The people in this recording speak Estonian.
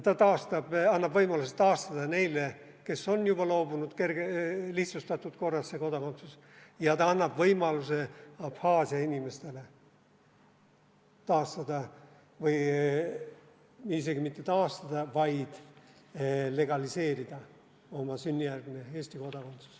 See annab võimaluse neile, kes on juba loobunud, taastada kodakondsus lihtsustatud korras, ja see annab võimaluse Abhaasia inimestele taastada – või isegi mitte taastada, vaid legaliseerida – oma sünnijärgne Eesti kodakondsus.